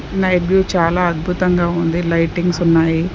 Night view చాలా అద్భుతంగా ఉంది లైటింగ్స్ ఉన్నాయి.